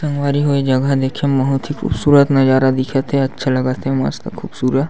संगवारी हो ये जगह देखे मा बहुत ही खूबसूरत नज़ारा दिखत हे अच्छा लगत हे मस्त खूबसूरत--